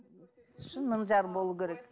шын мың жарым болу керек